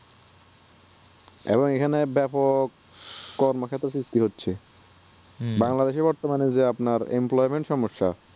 এবং এখানে ব্যাপক সৃষ্টি করছে বাংলাদেশ এ বর্তমান এ যে আপানর employment সমস্যা